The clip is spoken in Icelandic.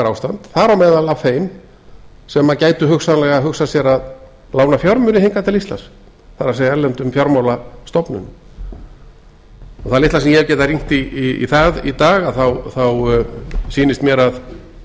ástand þar á meðal af þeim sem gætu hugsanlega hugsað sér að lána fjármuni hingað til íslands það er erlendum fjármálastofnunum það litla sem ég hef getað rýnt í það í dag þá sýnist mér